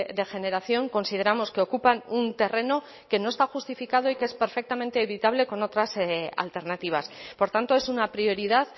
de generación consideramos que ocupan un terreno que no está justificado y que es perfectamente evitable con otras alternativas por tanto es una prioridad